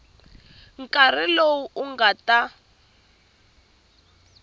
nkarhi lowu u nga ta